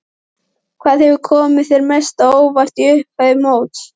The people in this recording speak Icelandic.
Hvað hefur komið þér mest á óvart í upphafi móts?